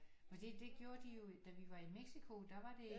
Fordi det gjorde de jo da vi var i Mexico der var det